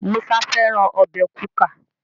Musa fẹràn Ọbẹ̀ kuka.